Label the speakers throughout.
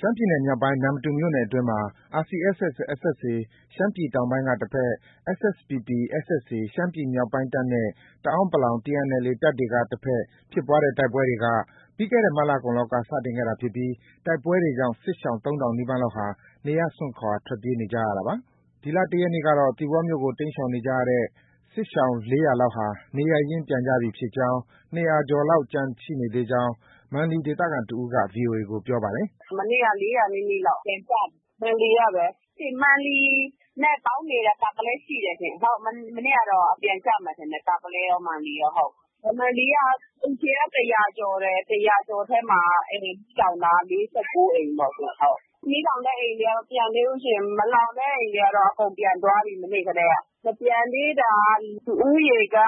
Speaker 1: ရှမ်းပြည်နယ်မြောက်ပိုင်း နမ္မတူမြို့နယ်အတွင်းမှာ RCSS/SSA ရှမ်းပြည်တောင်ပိုင်းတပ်က တဘက်၊ SSPP/SSA ရှမ်းပြည်မြောက်ပိုင်းတပ်နဲ့ တအန်း TNLA ပူးပေါင်းတပ်တွေက တဘက်ဖြစ်ပွားတဲ့ တိုက်ပွဲတွေက ပြီးခဲ့တဲ့ မတ်လကုန်လောက်က စတင်ခဲ့တာဖြစ်ပြီး ဒီတိုက်ပွဲကြောင့် စစ်ရှောင် ၃,၀၀၀ နီးပါးလောက်ဟာ နေရပ်စွန့်ခွာ ထွက်ပြေးနေကြရတာပါ။ ဒီလ ၁ ရက်နေ့ကတော့ သီပေါမြို့ကို တိမ်းရှောင်နေကြရတဲ့ စစ်ရှောင် ၄၀၀ လောက်ဟာ နေရပ်ရင်း ပြန်ကြပြီဖြစ်ကြောင်း ၂၀၀ ကျော်လောက် ကျန်ရှိနေသေးကြောင်း မန်လီဒေသခံတစ်ဦးက ဗွီအိုအေကို ပြောပါတယ်
Speaker 2: ။ “မနေ့က ၄၀၀ နီးနီးလောက် ပြန်ကြပြီ။ မန်လီကပဲ။ မန်လီနဲ့ ပေါင်းနေတာ တာပုလဲရှိတယ်။ မနေ့ကတော့ ပြန်ကြမယ်ထင်တယ်။ တာပုလဲရော၊ မန်လီရော။ မန်လီက အိမ်ခြေက ၁၀၀ ကျော်တယ်။ ၁၀၀ ကျော်ထဲမှာက အိမ်မီးလောင်တာက ၄၉ အိမ်ပေါ့။ မီးလောင်တဲ့အိမ်တွေက မပြန်သေးဘူးရှင့်။ မလောင်တဲ့အိမ်တွေက အကုန်ပြန်သွားပြီ မနေ့ကတည်းက။ မပြန်သေးတာ လူဦးရေက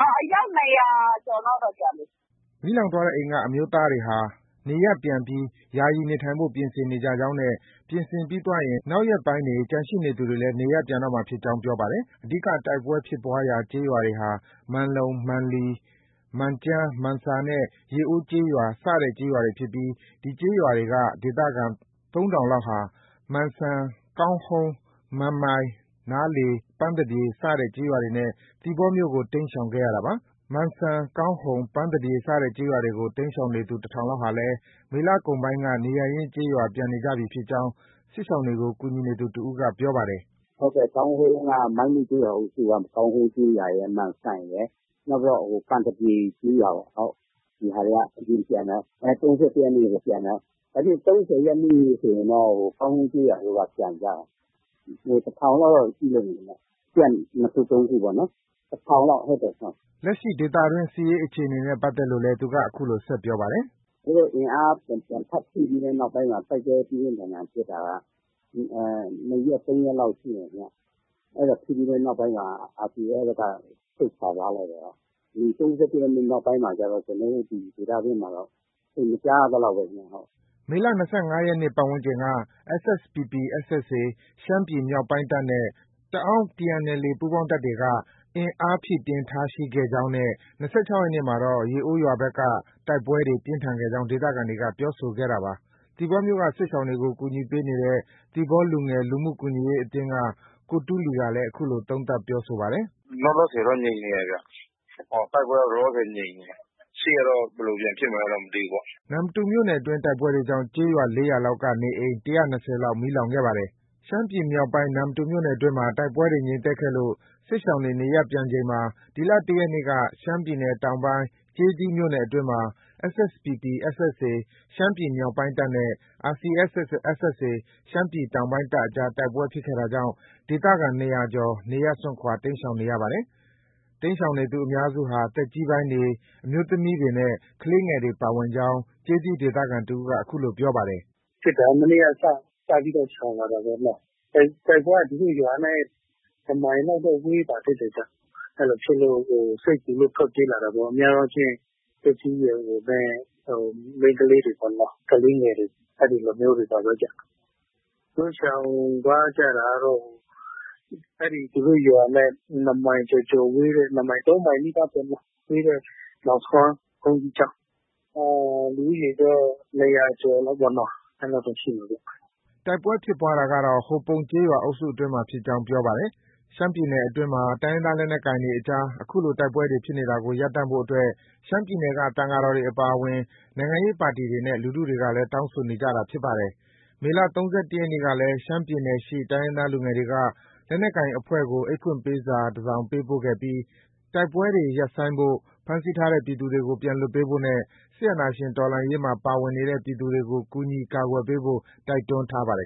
Speaker 2: အယောက် ၂၀၀ ကျော်လောက်တော့ ကျန်မယ်။
Speaker 1: ” မီးလောင်သွားတဲ့အိမ်က အမျိုးသားတွေဟာ နေရပ်ပြန်ပြီး ယာယီနေထိုင်ဖို့ ပြင်ဆင်နေကြကြောင်းနဲ့ ပြင်ဆင်ပြီးသွားရင် နောက်ရက်ပိုင်းတွေ ကျန်ရှိသူတွေလည်း နေရပ်ပြန်တော့မှာဖြစ်ကြောင်း ပြောပါတယ်။ အဓိက တိုက်ပွဲဖြစ်ပွားရာကျေးရွာတွေဟာ ပန်လုံ၊ မန်လီ၊ မန်ကျန်း၊ မန်ဆာနဲ့ ရေအိုးကျေးရွာစတဲ့ ကျေးရွာတွေ ဖြစ်ပြီး ဒီကျေးရွာတွေက ဒေသခံ ၃,၀၀၀ လောက်ဟာ မန်စံ၊ ကောင်းဟုန်း၊ မန်မိုင်၊ နားလေ၊ ပန်သပြေစတဲ့ ကျေးရွာတွေနဲ့ သီပေါမြို့ကို တိမ်းရှောင်ခဲ့ရတာပါ။ မန်စံ၊ ကောင်းဟုန်၊ ပန်သပြေစတဲ့ကျေးရွာတွေကို တိမ်းရှောင်နေသူ ၁,၀၀၀ လောက် ဟာလည်း မေလကုန်ပိုင်းက နေရပ်ရင်းကျေးရွာကို ပြန်နေပြီဖြစ်ကြောင်း စစ်ရှောင်တွေကို ကူညီသူ တစ်ဦးက ပြောပါတယ်။
Speaker 3: “ဟုတ် ကောင်းဟုန်းက၊ မိုင်းမုကျေးရွာအုပ်စု ကောင်းဟုန်ကျေးရွာရယ်။ မန်စံရယ်၊ နောက်ပြီးတော့ ပန်သပြေကျေးရွာပေါ့။ ဒီဟာတွေက အရင်ပြန်သွားတာ။ ၃၁ ရက်နေ့တည်းက ပြန်သွားတာ။ ၃၀ ရက်နေ့ဆိုရင်တော့ ဟို ကောင်းဟုန်းကျေးရွာက ပြန်ကြတာ။ ၁,၀၀၀ လောက်တော့ ရှိလိမ့်မယ်ခင်ဗျ။ Camp ၂ ခု၊ ၃ ခုပေါ့နော်။ ၁,၀၀၀ လောက်။
Speaker 1: ” လက်ရှိဒေသတွင်း စစ်ရေးအခြေအနေနဲ့ ပတ်သက်လို့လည်း သူက အခုလို ဆက်ပြောပါတယ်
Speaker 3: ။ “သူတို့ အင်အား ပြန် ထပ်ဖြည့်ပြီးတဲ့နောက်မှာ တိုက်ပွဲပြင်းပြင်းထန်ထန်ဖြစ်တာက ၂ ရက်၊ ၃ ရက်လောက် ရှိမယ်ခင်ဗျ။ အဲဒါဖြစ်ပြီးတဲ့နောက်မှာ RCSS က ဆုတ်ခွာသွားလိုက်တာ။ ဒီ ၃၁ ရက်နေ့ နောက်ပိုင်းမှာတော့ ကျနော်တို့ ဒေသတွင်းမှာတော့ သိပ်မကြားရသလောက်ပဲဗျ။
Speaker 1: ” မေလ ၂၅ ရက်နေ့ ပတ်ဝန်းကျင်က SSPP/SSA ရှမ်းပြည်မြောက်ပိုင်းတပ်နဲ့ တအန်း TNLA ပူးပေါင်းတပ်တွေက အင်အားဖြည့်တင်းတာရှိခဲ့ကြောင်းနဲ့ ၂၆ ရက်နေ့မှာတော့ ရေအိုးရွာဘက်မှာ တိုက်ပွဲတွေ ပြင်းထန်ခဲ့ကြောင်း ဒေသခံတွေက ပြောဆိုခဲ့တာပါ။ သီပေါမြို့က စစ်ရှောင်တွေကို ကူညီပေးနေတဲ့ သီပေါလူငယ် လူမှုကူညီရေးအသင်းက ကိုတူးလီကလည်း အခုလို သုံးသပ်ပြောဆိုပါတယ်။ “လောလောဆယ်တော့ ငြိမ်နေတယ်ဗျ။ တိုက်ပွဲက လောလောဆယ်တော့ ငြိမ်နေတယ်၊ ရှေ့ကတော့ ဘယ်လိုပြန်ဖြစ်မလဲ မသိဘူးပေါ့။” နမ္မတူမြို့နယ်တွင်း တိုက်ပွဲကြောင့် ကျေးရာ ၄ ရွာလောက်က နေအိမ် ၁၂၀ နီးပါး မီးလောင်ခဲ့ပါတယ်။ ရှမ်းပြည်နယ်မြောက်ပိုင်း နမ္မတူမြို့နယ်အတွင်းမှာ တိုက်ပွဲတွေ ငြိမ်သက်ခဲ့လို့ စစ်ရှောင်တွေ နေရပ်ပြန်ချိန်မှာ ဒီလ ၁ ရက်နေ့က ရှမ်းပြည်နယ်တောင်ပိုင်း ကျေးသီးမြို့နယ်အတွင်းမှာ SSPP/SSA ရှမ်းပြည်မြောက်ပိုင်းတပ်နဲ့ RCSS/SSA ရှမ်းပြည်တောင်ပိုင်းတပ်အကြား တိုက်ပွဲဖြစ်ခဲ့တာကြောင့် ဒေသခံ ၂၀၀ ကျော် နေရပ်စွန့်ခွာ တိမ်းရှောင်နေရပါတယ်။ တိမ်းရှောင်သူအများစုဟာ သက်ကြီးပိုင်းတွေ၊ အမျိုးသမီးတွေနဲ့ ကလေးငယ်တွေ ပါဝင်ကြောင်း ကျေးသီး ဒေသခံက အခုလို ပြောပါတယ်
Speaker 2: ။ “မနေ့က စပြီးတော့ ရှောင်လာတာပေါ့နော်။ တိုက်ပွဲက သူတို့ ရွာနဲ့ ၁ မိုင်လောက်တော့ ဝေးပါသေးတယ်။ အဲဒီလိုဖြစ်လို့ စိတ်ပူလို့ ထွက်ပြေးလာတာပေါ့။ များသောအားဖြင့် သက်ကြီးရွယ်အိုနဲ့ မိန်းကလေးတွေပေါ့နော်။ကလေးငယ်တွေ အဲဒီလိုမျိုးတွေပါပဲဗျ။ သူတို့ ရှောင်သွားကြတာကတော့ သူတို့ရွာနဲ့ ၂ မိုင်ကျော်ကျော်ဝေးတဲ့၊ ၃ မိုင်နီးပါးပေါ့နော်။ ဝေးတဲ့ နောင်ဆွမ်းဘုန်းကြီးကျောင်း။ လူဦးရေတော့ ၂၀၀ ကျော်လောက်ပေါ့နော်။ အဲဒီလောက်တော့ ရှိမယ်ဗျ။”
Speaker 1: တိုက်ပွဲဖြစ်ပွားတာကတော့ ဟိုပုံကျေးရွာအုပ်စုအတွင်းမှာ ဖြစ်ကြောင်း ပြောပါတယ်။ ရှမ်းပြည်နယ်အတွင်းမှာ တိုင်းရင်းသားလက်နက်ကိုင်တွေအကြား အခုလို တိုက်ပွဲတွေ ဖြစ်နေတာကို ရပ်တန့်ဖို့အတွက် ရှမ်းပြည်နယ်က သံဃာတော်တွေအပါအဝင် နိုင်ငံရေးပါတီတွေနဲ့ လူထုတွေကလည်း တောင်းဆိုနေကြတာဖြစ်ပါတယ်။ မေလ ၃၁ ရက်နေ့ကလည်း ရှမ်းပြည်နယ်ရှိ တိုင်းရင်းသားလူငယ်တွေက လက်နက်ကိုင်အဖွဲ့ကို အိတ်ဖွင့်ပေးစာတစ်စောင်ပေးပို့ခဲ့ပြီး တိုက်ပွဲတွေ ရပ်ဆိုင်းဖို့၊ ဖမ်းဆီးထားတဲ့ ပြည်သူတွေကို ပြန်လွှတ်ပေးဖို့နဲ့ စစ်အာဏာရှင်တော်လှန်ရေးမှာ ပါဝင်နေတဲ့ ပြည်သူတွေကို ကူညီကာကွယ်ပေးဖို့ တိုက်တွန်းထားပါတယ်